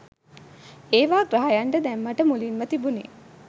ඒවා ග්‍රහයන්ට දැම්මට මුලින්ම තිබුනේ